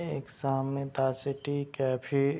एक सामने the city cafe --